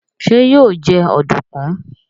ṣe yíò jé Ọ̀dùnkún?